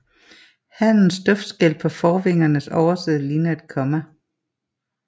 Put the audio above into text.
Hannens duftskæl på forvingernes overside ligner et komma